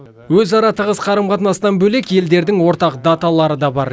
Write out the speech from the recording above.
өзара тығыз қарым қатынастан бөлек елдердің ортақ даталары да бар